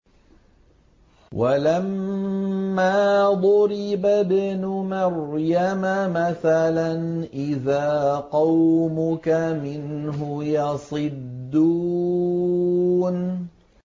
۞ وَلَمَّا ضُرِبَ ابْنُ مَرْيَمَ مَثَلًا إِذَا قَوْمُكَ مِنْهُ يَصِدُّونَ